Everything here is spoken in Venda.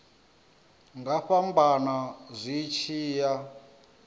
nga fhambana zwi tshi ya